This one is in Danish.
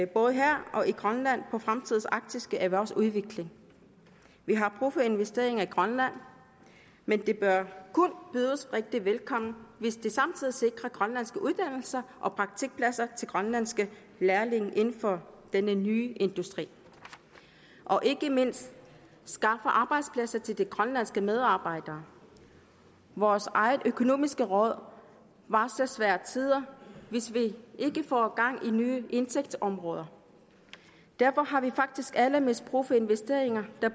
både her og i grønland på fremtidens arktiske erhvervsudvikling vi har brug for investeringer i grønland men de bør kun bydes rigtig velkommne hvis de samtidig sikrer grønlandske uddannelser og praktikpladser til grønlandske lærlinge inden for denne nye industri og ikke mindst skaffer arbejdspladser til grønlandske medarbejdere vores eget økonomiske råd varsler svære tider hvis vi ikke får gang i nye indtægtsområder derfor har vi faktisk allermest brug for investeringer